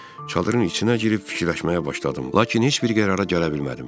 Çadırın içinə girib fikirləşməyə başladım, lakin heç bir qərara gələ bilmədim.